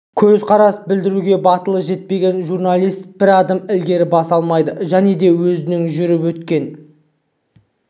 көзқарас білдіруге батылы жетпеген журналист бір адым ілгері баса алмайды және де өзінің жүріп өткен